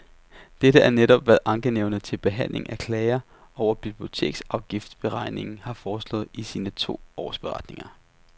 Dette er netop, hvad ankenævnet til behandling af klager over biblioteksafgiftsberegningen har foreslået i sine to årsberetninger.